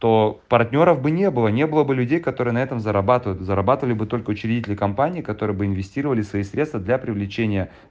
то партнёров бы не было не было бы людей которые на этом зарабатывают зарабатывали бы только учредители компании которые бы инвестировали свои средства для привлечения